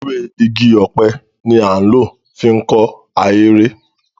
Ewé igi ọ̀pẹ ni a ń lò fi kọ́ ahéré.